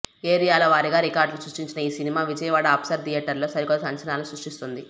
ఏరియాల వారీగా రికార్డులను సృష్టించిన ఈ సినిమా విజయవాడ అప్సర థియేటర్లో సరికొత్త సంచలనాలను సృష్టిస్తుంది